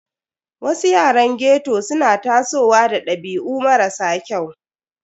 Wasu yaran ghetto suna tasowa da dabi'u marasa kyau.